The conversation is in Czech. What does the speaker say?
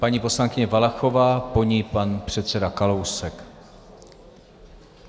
Paní poslankyně Valachová, po ní pan předseda Kalousek.